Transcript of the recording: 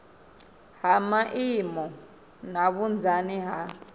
ha maimo na vhunzani ha